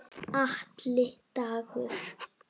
Atli Dagur.